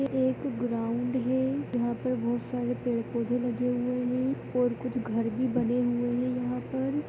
एक ग्राउंड है जहाँ पर बोहोत सारे पेड़-पौधे लगे हुए है और कुछ घर भी बने हुए है यहाँ पर।